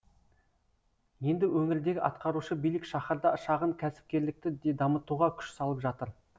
енді өңірдегі атқарушы билік шаһарда шағын кәсіпкерлікті де дамытуға күш салып жатыр